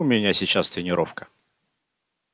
у меня сейчас тренировка